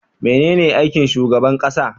Mene aikin shugaban ƙasa?